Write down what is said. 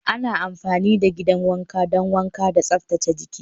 Ana amfani da gidan wanka don wanka da tsaftace jiki.